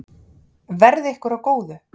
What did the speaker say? Verði ykkur að góðu.